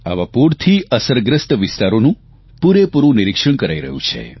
આવા પૂરથી અસરગ્રસ્ત વિસ્તારોનું પૂરેપૂરૂં નિરીક્ષણ કરાઇ રહ્યું છે